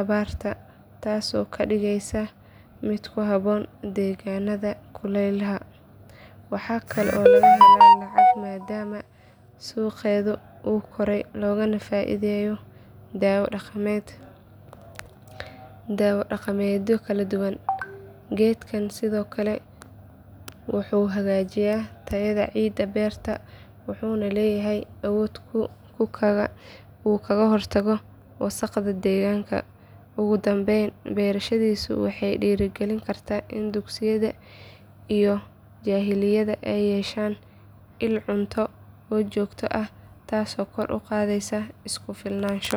abaarta taasoo ka dhigaysa mid ku habboon deegaanada kulaylaha. Waxaa kale oo laga helaa lacag maadaama suuqeedu uu korayo loogana faa’iideeyo daawo dhaqameedyo kala duwan. Geedkan sidoo kale wuxuu hagaajiyaa tayada ciidda beerta wuxuuna leeyahay awood uu kaga hortago wasakhda deegaanka. Ugu dambayn beerashadiisu waxay dhiirrigelin kartaa in dugsiyada iyo jaaliyadaha ay yeeshaan il cunto oo joogto ah taasoo kor u qaadaysa isku filnaansho.